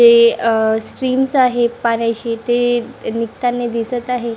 जे अ आहे पाण्याची ते अ निघतांनी दिसत आहे.